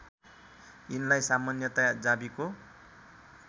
यिनलाई सामान्यतया जावीको